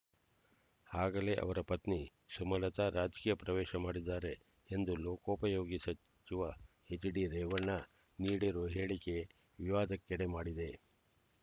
ಆಗಲೇ ಅವರ ಪತ್ನಿ ಸುಮಲತಾ ರಾಜಕೀಯ ಪ್ರವೇಶ ಮಾಡಿದ್ದಾರೆ ಎಂದು ಲೋಕೋಪಯೋಗಿ ಸಚಿವ ಹೆಚ್ಡಿ ರೇವಣ್ಣ ನೀಡಿರುವ ಹೇಳಿಕೆ ವಿವಾದಕ್ಕೆಡೆ ಮಾಡಿದೆ